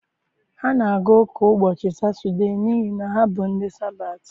Ha na-aga ụka ụbọchị Satọdee n'ihi na ha bụ ndị Sabatị.